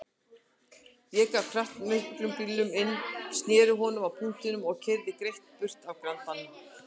Ég gaf kraftmiklum bílnum inn, sneri honum á punktinum og keyrði greitt burt af Grandanum.